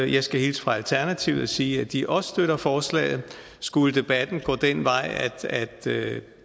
jeg skal hilse fra alternativet og sige at de også støtter forslaget skulle debatten gå den vej at